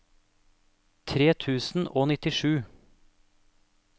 tre tusen og nittisju